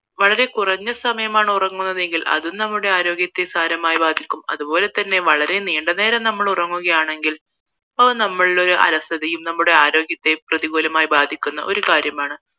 വളരെ കുറഞ്ഞ സമയമാണ് ഉറങ്ങുന്നതെങ്കിൽ അതും നമ്മുടെ ആരോഗ്യത്തെ സാരമായി ബാധിക്കും അതുപോലെ തന്നെ വളരെ നീണ്ട നേരം നമ്മൾ ഉറങ്ങുകയാണെങ്കിൽ അത് നമ്മളെയൊരു അലസതയും നമ്മുടെ ആരോഗ്യത്തെ പ്രതിക്കൂലമായി ബാധിക്കുന്ന ഒരു കാര്യമാണ്